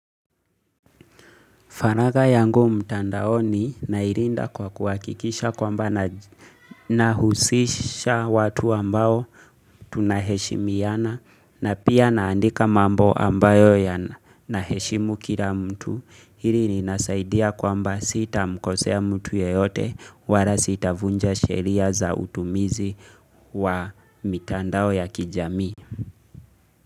Faragha yangu mtandaoni nailinda kwa kuhakikisha kwamba nahusisha watu ambao tunaheshimiana na pia naandika mambo ambayo yanaheshimu kila mtu. Hili linasaidia kwamba sita mkosea mtu yeyote wala sitavunja sheria za utumizi wa mtandao ya kijamii.